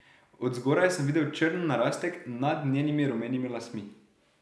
Od zgoraj sem videl črn narastek nad njenimi rumenimi lasmi.